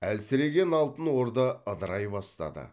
әлсіреген алтын орда ыдырай бастады